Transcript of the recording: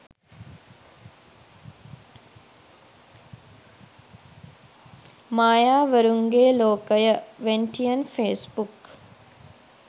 mayawarunge lokaya wentian facebook